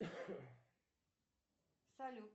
салют